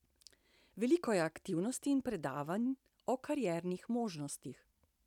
Veliko je aktivnosti in predavanj o kariernih možnostih.